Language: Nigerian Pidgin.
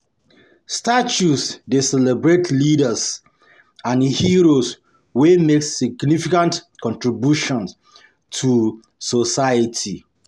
Statues dey celebrate leaders and heroes wey make significant contributions to society.